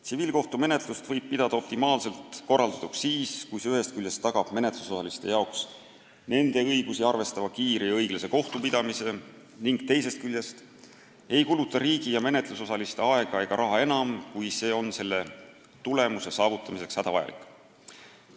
Tsiviilkohtumenetlust võib pidada optimaalselt korraldatuks siis, kui see ühest küljest tagab menetlusosaliste jaoks nende õigusi arvestava kiire ja õiglase kohtupidamise ning teisest küljest ei kuluta riigi ja menetlusosaliste aega ega raha enam, kui see on soovitud tulemuse saavutamiseks hädavajalik.